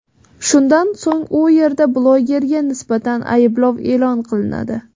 Shundan so‘ng u yerda blogerga nisbatan ayblov e’lon qilinadi.